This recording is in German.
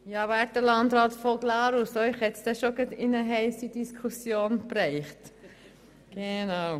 Ja, werter Landrat von Glarus – Sie haben es schon gerade in eine heisse Diskussion getroffen.